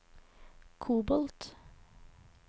kobolt